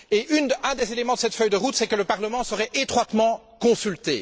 Un des éléments de cette feuille de route, était que le Parlement serait étroitement consulté.